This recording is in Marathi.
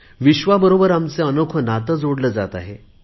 विश्वाबरोबर आमचे अनोखे नाते जोडले जात आहे